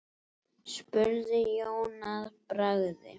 spurði Jón að bragði.